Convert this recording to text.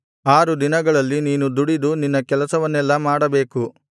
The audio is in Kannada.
ಆರು ದಿನಗಳಲ್ಲಿ ನೀನು ದುಡಿದು ನಿನ್ನ ಕೆಲಸವನ್ನೆಲ್ಲಾ ಮಾಡಬೇಕು